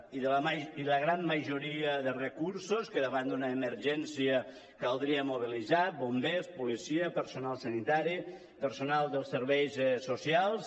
i la gran majoria de recursos que davant d’una emergència caldria mobilitzar bombers policia personal sanitari personal dels serveis socials